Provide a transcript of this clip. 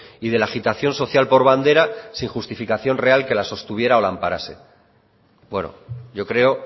y de la agitación social por bandera sin justificación real que la sostuviera o la amparase bueno yo creo